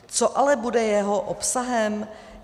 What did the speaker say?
Co ale bude jeho obsahem?